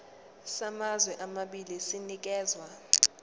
samazwe amabili sinikezwa